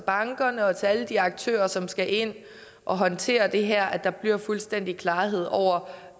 bankerne og alle de aktører som skal ind og håndtere det her at der bliver fuldstændig klarhed over